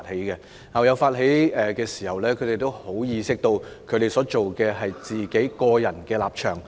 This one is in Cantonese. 當校友發起聯署時，他們意識到所表達的是個人立場。